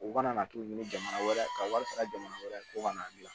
U kana na t'u ɲini jamana wɛrɛ ka wari sara jamana wɛrɛ ko ka n'a dilan